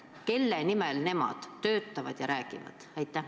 Kelle nimel nemad töötavad ja räägivad?